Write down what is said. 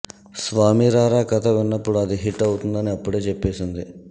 స్వామి రారా కథ విన్నప్పుడు అది హిట్ అవుతుందని అప్పుడే చెప్పేసింది